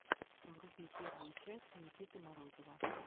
вруби первую часть никиты морозова